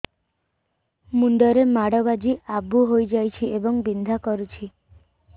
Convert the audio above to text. ମୁଣ୍ଡ ରେ ମାଡ ବାଜି ଆବୁ ହଇଯାଇଛି ଏବଂ ବିନ୍ଧା କରୁଛି